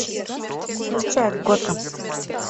включай готэм